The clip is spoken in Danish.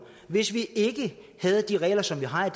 hvis vi ikke havde de regler som vi har